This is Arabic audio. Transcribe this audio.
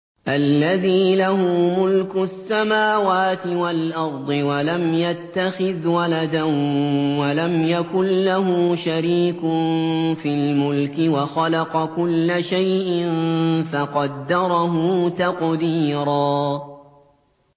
الَّذِي لَهُ مُلْكُ السَّمَاوَاتِ وَالْأَرْضِ وَلَمْ يَتَّخِذْ وَلَدًا وَلَمْ يَكُن لَّهُ شَرِيكٌ فِي الْمُلْكِ وَخَلَقَ كُلَّ شَيْءٍ فَقَدَّرَهُ تَقْدِيرًا